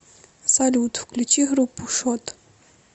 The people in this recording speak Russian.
салют включи группу шот